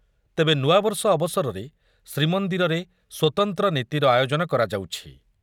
ତେବେ ନୂଆବର୍ଷ ଅବସରରେ ଶ୍ରୀମନ୍ଦିରରେ ସ୍ୱତନ୍ତ୍ର ନୀତିର ଆୟୋଜନ କରାଯାଉଛି ।